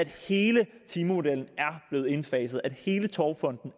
hele timemodellen er blevet indfaset og hele togfonden